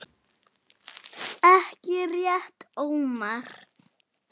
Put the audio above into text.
Ekki rétt Ómar?